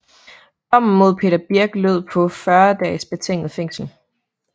Dommen mod Peter Birch lød på 40 dages betinget fængsel